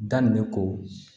Daminɛ ko